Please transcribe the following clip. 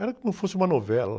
Era como se fosse uma novela.